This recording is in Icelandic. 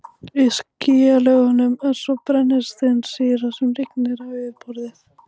Í skýjalögunum er svo brennisteinssýra sem rignir á yfirborðið.